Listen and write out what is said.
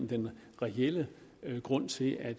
den reelle grund til at